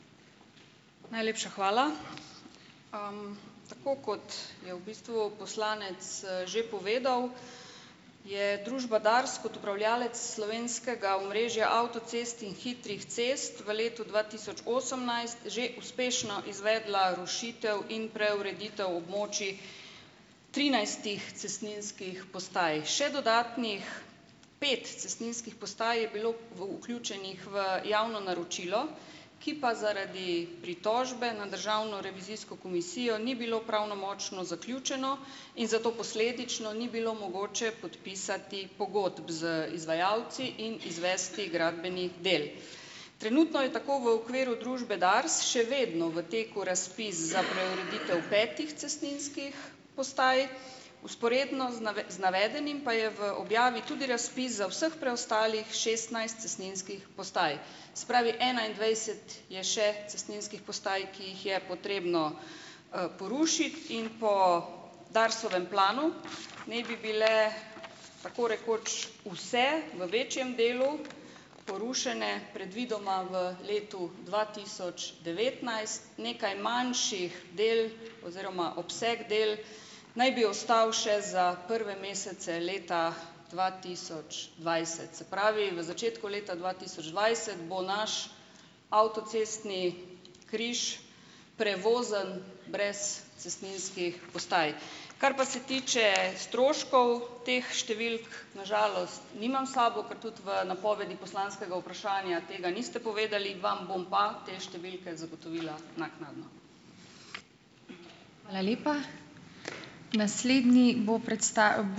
Najlepša hvala. Tako kot je v bistvu poslanec že povedal, je družba Dars kot upravljavec slovenskega omrežja avtocest in hitrih cest v letu dva tisoč osemnajst že uspešno izvedla rušitev in preureditev območij trinajstih cestninskih postaj. Še dodatnih pet cestninskih postaj je bilo v vključenih v javno naročilo, ki pa zaradi pritožbe na državno revizijsko komisijo ni bilo pravnomočno zaključeno in zato posledično ni bilo mogoče podpisati pogodb z izvajalci in izvesti gradbenih del. Trenutno je tako v okviru družbe Dars še vedno v teku razpis za preureditev petih cestninskih postaj, vzporedno z navedenim pa je v objavi tudi razpis za vseh preostalih šestnajst cestninskih postaj. Se pravi, enaindvajset je še cestninskih postaj, ki jih je potrebno, porušiti in po Darsovem planu naj bi bile tako rekoč vse v večjem delu porušene predvidoma v letu dva tisoč devetnajst, nekaj manjših del oziroma obseg del naj bi ostal še za prve mesece leta dva tisoč dvajset. Se pravi, v začetku leta dva tisoč dvajset bo naš avtocestni križ prevozen brez cestninskih postaj. Kar pa se tiče stroškov. Teh številk na žalost nimam s sabo, ker tudi v napovedi poslanskega vprašanja tega niste povedali, vam bom pa te številke zagotovila naknadno.